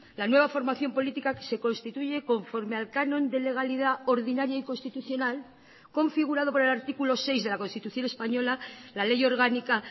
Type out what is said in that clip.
la nueva formación política que se constituye con forme al canon de legalidad ordinaria y constitucional configurado por el artículo seis de la constitución española la ley orgánica